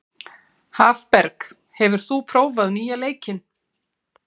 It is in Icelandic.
Hafberg, hefur þú prófað nýja leikinn?